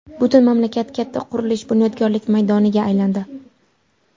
Butun mamlakat katta qurilish, bunyodkorlik maydoniga aylandi.